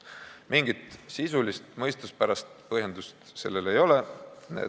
Mingit sisulist, mõistuspärast põhjendust sellel ei ole.